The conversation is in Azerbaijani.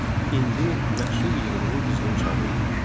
İndi məhsul yığımının qızğın çağı idi.